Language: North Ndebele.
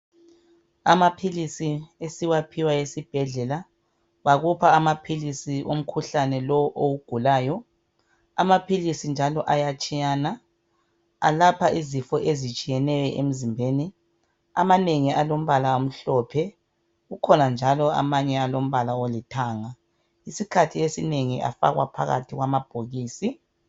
Amaphilisi esiwaphiwayo esibhedlela bakupha amaphilisi womkhuhlane lowo owugulayo. Amaphilisi njalo ayatshiyana. Alapha izifo ezitshiyeneyo emzimbeni amanengi alombala omhlophe, ukhona njalo amanye alombala olithanga. Isikhathi esinengi afakwa phakathi kwamabhokisi.